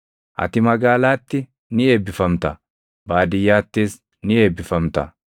Ati magaalaatti ni eebbifamta; baadiyyaattis ni eebbifamta.